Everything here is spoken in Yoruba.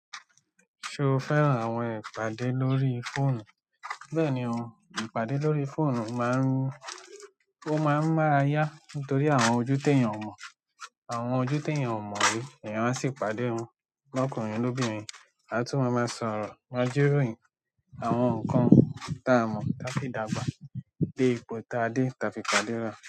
Ṣo fẹ́ràn àwọn ìpàdé lórí fóònù? Bẹ́ẹ̀ni o, ìpàdé lórí fóònù máa ń mú, o máa ń máa yá nítorí àwọn ojú tí ènìyàn ò mọ̀, àwọn ojú tí ènìyàn ò mọ̀ rí, ènìyàn á sì pàdé wọn. Lọ́kùnrin lóbírin, a tún máa máa sọ̀rọ̀ máajíròyìn, àwọn nǹkan táa mọ̀ táa fi dàgbà, de ipò táa dé táa fi pàdéra.